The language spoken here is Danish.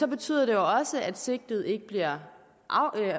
betyder det også at sigtede ikke bliver